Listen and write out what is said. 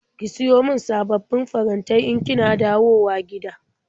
Ki siyo min sababbin farantai in kina dawowa gida.